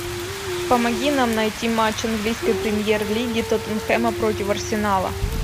помоги нам найти матч английской премьер лиги тоттенхэма против арсенала